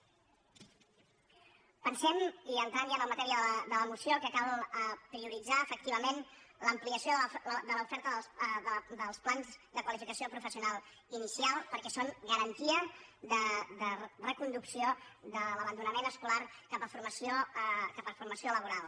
pensem i entrant ja en la matèria de la moció que cal prioritzar efectivament l’ampliació de l’oferta dels plans de qualificació professional inicial perquè són garantia de reconducció de l’abandonament esco·lar cap a formació laboral